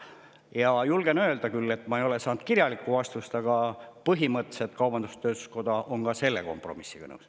Ja julgen öelda, ehkki ma ei ole küll saanud kirjalikku vastust, et põhimõtteliselt on kaubandus-tööstuskoda ka selle kompromissiga nõus.